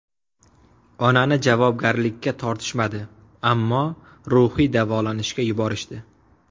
Onani javobgarlikka tortishmadi, ammo ruhiy davolanishga yuborishdi.